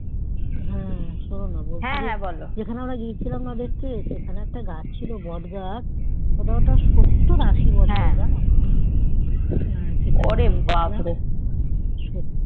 হম শোনো না যেখানে আমরা গিয়েছিলাম না দেখতে সেখানে একটা গাছ ছিল বট গাছ ওটা সত্তর আশি বছরের জানো